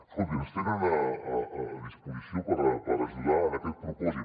escoltin ens tenen a disposició per ajudar en aquest propòsit